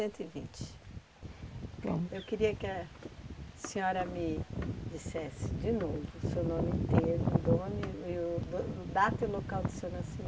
Vamos. Eu queria que a senhora me dissesse de novo o seu nome inteiro, o dono e o e o data e local do seu